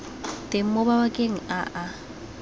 teng mo mabakeng a a